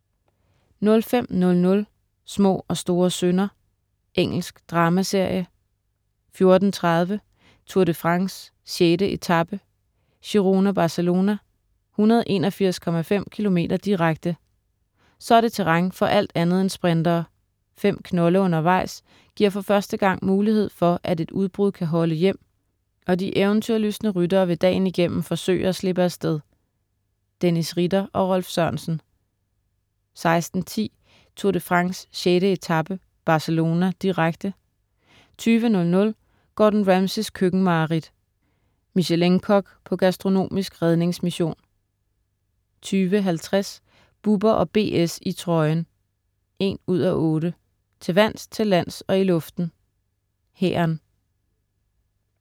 05.00 Små og store synder. Engelsk dramaserie 14.30 Tour de France: 6. etape, Girona-Barcelona, 181,5 km, direkte. Så er det terræn for alt andet end sprintere. Fem knolde undervejs giver for første gang mulighed for, at et udbrud kan holde hjem, og de eventyrlystne ryttere vil dagen igennem forsøge at slippe af sted. Dennis Ritter og Rolf Sørensen 16.10 Tour de France: 6. etape, Barcelona, direkte 20.00 Gordon Ramsays køkkenmareridt. Michelin-kok på gastronomisk redningsmission 20.50 Bubber & BS i trøjen 1:8. Til vands, til lands og i luften: Hæren